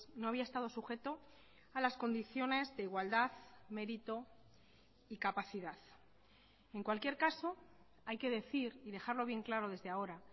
no había estado sujeto a las condiciones de igualdad mérito y capacidad en cualquier caso hay que decir y dejarlo bien claro desde ahora